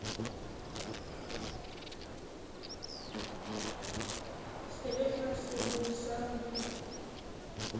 se le fatshemoo sa mo